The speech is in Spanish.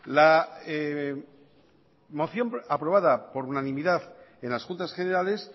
la moción aprobada por unanimidad en las juntas generales